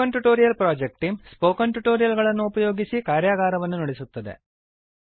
spoken tutorial project team spoken tutorial ಗಳನ್ನು ಉಪಯೋಗಿಸಿ ಕಾರ್ಯಾಗಾರಗಳನ್ನು ನಡೆಸುತ್ತದೆ